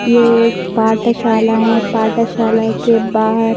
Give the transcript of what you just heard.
ये एक पाठशाला है पाठशाला के बाहर --